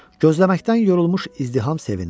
Gözləməkdən yorulmuş izdiham sevindi.